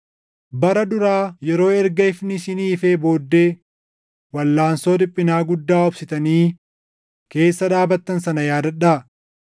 Bara duraa yeroo erga ifni isinii ifee booddee walʼaansoo dhiphinaa guddaa obsitanii keessa dhaabattan sana yaadadhaa.